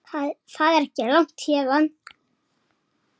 Það er ekki langt héðan.